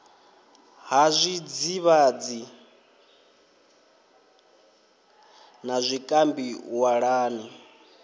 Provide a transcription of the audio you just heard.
ha zwidzivhadzi na zwikambi walani